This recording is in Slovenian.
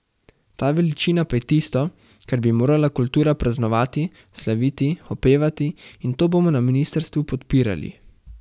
Ta veličina pa je tisto, kar bi morala kultura praznovati, slaviti, opevati, in to bomo na ministrstvu podpirali.